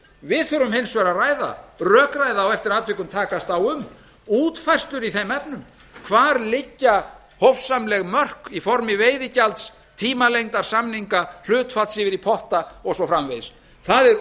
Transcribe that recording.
við þurfum hins vegar að ræða rökræða og eftir atvikum takast á um útfærslur í þeim efnum hvar liggja hófssamleg mörk í formi veiðigjalds tímalengdar samninga hlutfalls yfir í potta og svo framvegis það er